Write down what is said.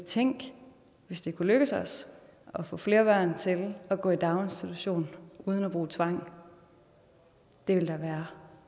tænk hvis det kunne lykkes os at få flere børn til at gå i daginstitution uden at bruge tvang det ville da være